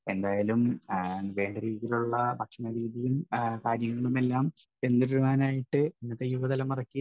speaker 1 എന്തായാലും വേണ്ട രീതിയിലുള്ള ഭക്ഷണരീതിയും കാര്യങ്ങളുമെല്ലാം പിന്തുടരുവാനായിട്ട് ഇന്നത്തെ യുവതലമുറയ്ക്ക്